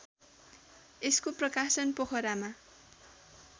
यसको प्रकाशन पोखरामा